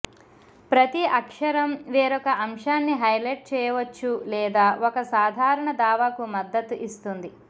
ప్రతి అక్షరం వేరొక అంశాన్ని హైలైట్ చేయవచ్చు లేదా ఒక సాధారణ దావాకు మద్దతు ఇస్తుంది